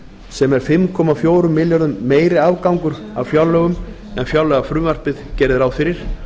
sem er fimm komma fjórum milljörðum meiri afgangur af fjárlögum en fjárlagafrumvarpið gerði ráð fyrir